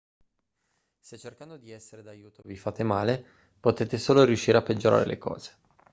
se cercando di essere d'aiuto vi fate male potete solo riuscire a peggiorare le cose